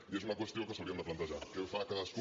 i és una qüestió que ens hauríem de plantejar què fa cadascú